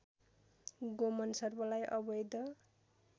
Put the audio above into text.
गोमन सर्पलाई अवैध